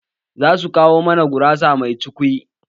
Za su kawo mana gurasa mai cukwi